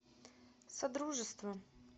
содружество